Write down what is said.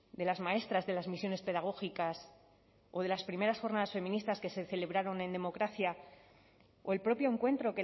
de las maestras de las misiones pedagógicas o de las primeras jornadas feministas que se celebraron en democracia o el propio encuentro